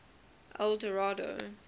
eldorado